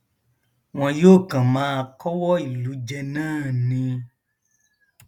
wọn yóò kàn máa kọwọ ìlú jẹ náà ni